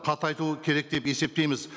қатайтуы керек деп есептейміз